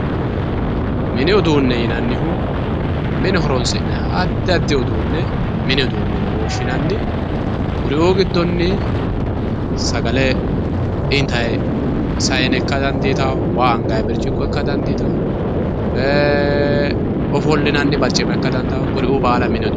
mini uduune yinannihu mine horonsi'nayiiha addi addi uduune mini uduune yine woshshinanni kuri"uu giddonni sagale intayii sayiine ikka dandiitao waa angayi birciqqo ikka dandiitao ofollinanni barcima ikka dandao kuri"uu mini uduune yinay.